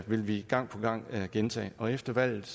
vil vi gang på gang gentage og efter valget